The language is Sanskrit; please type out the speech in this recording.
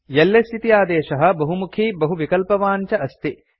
एलएस इति आदेशः बहुमुखी बहुविकल्पवान् च अस्ति